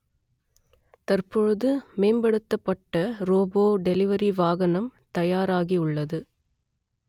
தற்பொழுது மேம்படுத்தப்பட்ட robot delivery வாகனம் தயாராகி உள்ளது